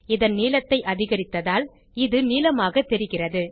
இதன் நீளத்தை அதிகரித்ததால் இது நீளமாக தெரிகிறது